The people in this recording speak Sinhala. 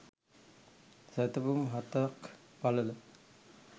සැතපුම් හතක් පළල